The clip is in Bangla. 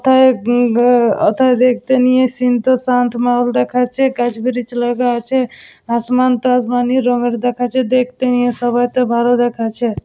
তা উম ব ওথায় দেখতে নিয়ে সিন্ টা শান্ত মহল দেখাচ্ছেগাছ ব্রীজ লাগা আছে আশমান তো আশমানি রঙের দেখাচ্ছে ।দেখতে নিয়ে সবেই তো ভালো দেখাচ্ছে ।